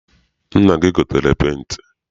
Nna gị egotere penti?